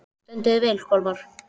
Þú stendur þig vel, Kolmar!